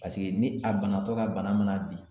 Paseke ni a banatɔ ka bana mana bi